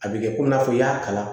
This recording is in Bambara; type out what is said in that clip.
A bɛ kɛ komi n'a fɔ i y'a kalan